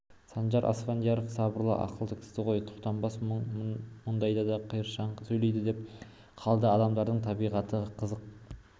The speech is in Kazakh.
санжар аспандияров сабырлы ақылды кісі ғой сұлтанбек мұндайда да қыршаңқы сөйлейді деп қалды адамдардың табиғаты қызық